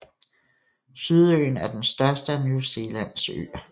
Sydøen er den største af New Zealands øer